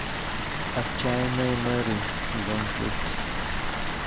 отчаянные меры сезон шесть